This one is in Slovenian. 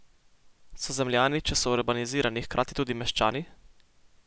So zemljani, če so urbanizirani, hkrati tudi meščani?